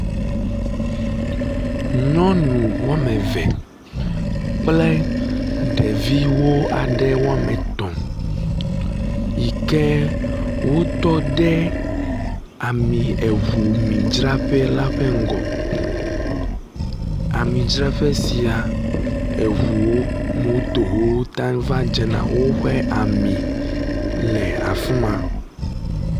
Nyɔnu wɔme eve kple ɖeviwo aɖe wɔme etɔ̃ yi ke wotɔ ɖe ami eŋumidzraƒe la ƒe ŋgɔ. Amidzraƒe sia eŋuwo, motow, ta va dzena woƒe ami le afi ma.